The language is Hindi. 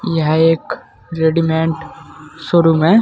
यह एक रेडीमेड शोरूम है।